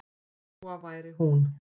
Lóa væri hún.